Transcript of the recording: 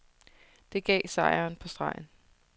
Det gav sejren på stregen.